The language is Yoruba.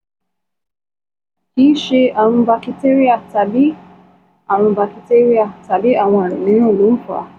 Kì í ṣe àrùn bakitéríà tàbí àrùn bakitéríà tàbí àwọn àrùn mìíràn ló ń fà á